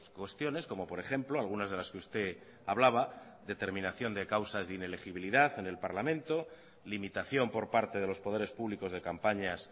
cuestiones como por ejemplo algunas de las que usted hablaba determinación de causas de inelegibilidad en el parlamento limitación por parte de los poderes públicos de campañas